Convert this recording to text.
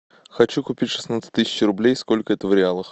хочу купить шестнадцать тысяч рублей сколько это в реалах